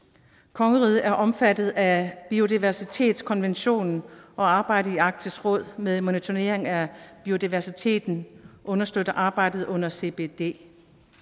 kongeriget er omfattet af biodiversitetskonventionen og arbejdet i arktisk råd med monitorering af biodiversiteten understøtter arbejdet under cbd